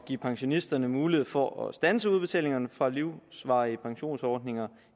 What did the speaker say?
give pensionisterne mulighed for at standse udbetalingerne fra livsvarige pensionsordninger